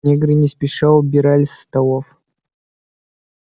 негры не спеша убирали со столов